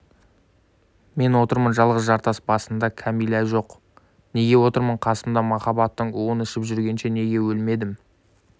мен отырмын жалғыз жартас басында кәмила жоқ неге отырмын қасымда махаббаттың уын ішіп жүргенше неге өлмедім